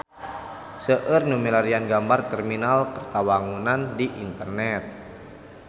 Seueur nu milarian gambar Terminal Kertawangunan di internet